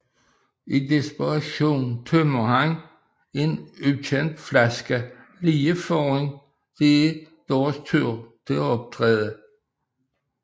I desperation tømmer han en ukendt flaske lige før det er deres tur til at optræde